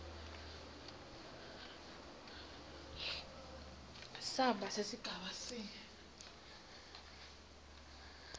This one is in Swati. samba sesigaba c